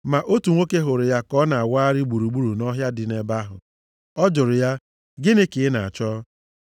ma otu nwoke hụrụ ya ka ọ na-awagharị gburugburu nʼọhịa dị nʼebe ahụ, ọ jụrụ ya, “Gịnị ka ị na-achọ?”